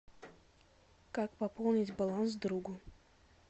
как пополнить баланс другу